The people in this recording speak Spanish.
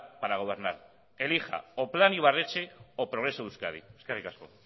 para gobernar elija o plan ibarretxe o progreso de euskadi eskerrik asko